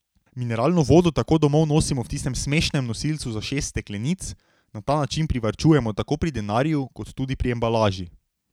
Mineralno vodo tako domov nosimo v tistem smešnem nosilcu za šest steklenic, na ta način privarčujemo tako pri denarju, kot tudi pri embalaži.